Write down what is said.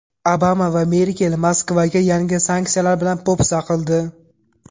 Obama va Merkel Moskvaga yangi sanksiyalar bilan po‘pisa qildi.